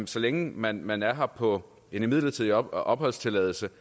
så længe man man er her på midlertidig opholdstilladelse